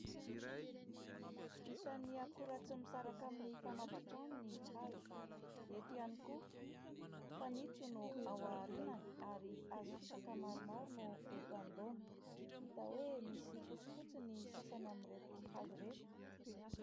Isan'ny akora tsy misaraka amin'ny fanaovan-trano ny hazo. Eto ihany koa, fanitso no ao aorinany ary hazo fisaka maromaro no eto anoloana. Hita hoe misy fotsifotsy ny sasany amin'ireto hazo ireto.